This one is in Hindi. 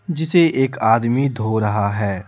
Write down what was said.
जिसे एक आदमी धो रहा है।